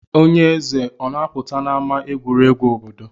Onye eze o na-apụta n'ama egwuregwu obodo?